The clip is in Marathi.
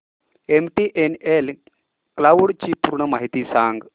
एमटीएनएल क्लाउड ची पूर्ण माहिती सांग